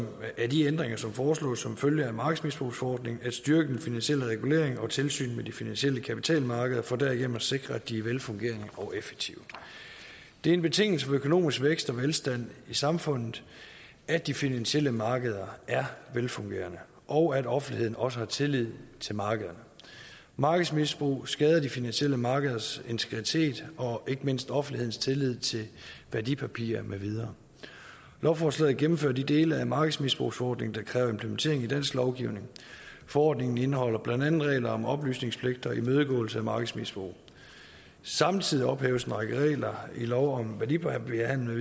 de ændringer som foreslås som følge af markedsmisbrugsforordningen at styrke den finansielle regulering og tilsynet med de finansielle kapitalmarkeder for derigennem at sikre at de er velfungerende og effektive det er en betingelse for økonomisk vækst og velstand i samfundet at de finansielle markeder er velfungerende og at offentligheden også har tillid til markederne markedsmisbrug skader de finansielle markeders integritet og ikke mindst offentlighedens tillid til værdipapirer med videre lovforslaget gennemfører de dele af markedsmisbrugsforordningen der kræver implementering i dansk lovgivning forordningen indeholder blandt andet regler om oplysningspligt og imødegåelse af markedsmisbrug samtidig ophæves en række regler i lov om værdipapirhandel